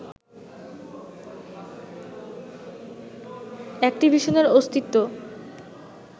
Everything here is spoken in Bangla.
অ্যাকটিভিশনের অস্তিত্ব